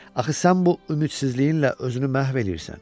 Axı sən bu ümidsizliyinlə özünü məhv eləyirsən.